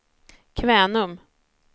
Kvänum